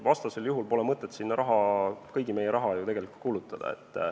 Vastasel juhul pole ju mõtet sinna kõigi meie raha kulutada.